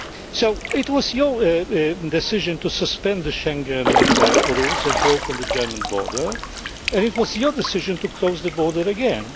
day. So, it was your decision to suspend the Schengen rules and to open the German border, and it was your decision to close the border